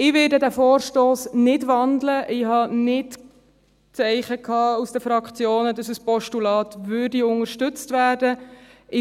Ich werde den Vorstoss nicht wandeln, ich hatte keine Zeichen aus den Fraktionen, dass ein Postulat unterstützt werden würde.